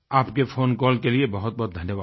आपके फ़ोनकॉल के लिए बहुतबहुत धन्यवाद